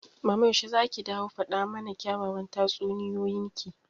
mama yaushe zaki dawo faɗa mana kyawawan tatsuniyoyin ki?